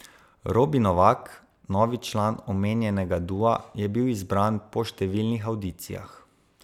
Robi Novak, novi član omenjenega dua, je bil izbran po številnih avdicijah.